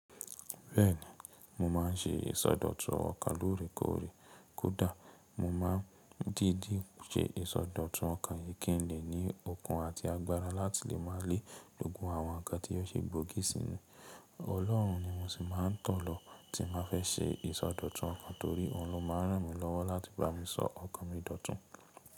Bẹ́ẹ̀ni, mo máà ń ṣe ìsọdọ̀tun ọkàn lórèkórè. Kódà mo máa ń dídi ṣe ìsọdọ̀tun ọkàn yìí kí n lè ní okun àti agbára láti lè má lè loogun àwọn nǹkan tí ó ṣe é gbógi sí mi. Ọlọ́run ni mo sì máa ń tọ̀ lọ tí mo fẹ́ ṣe ìsọdọ̀tun ọkàn torí òun ló máa ń ràn mí lọ́wọ́ láti bá mi sọ ọkàn mi dọ̀tun.